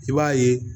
I b'a ye